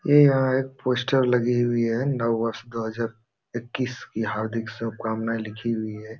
ये यहाँ एक पोस्टर लगी हुई है नव वर्ष दो हज़ार एक्कीस की हार्दिक शुभकामनाएं लिखी हुई है।